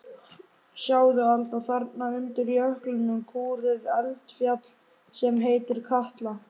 Sjáðu Alda, þarna undir jöklinum kúrir eldfjall sem heitir Katla.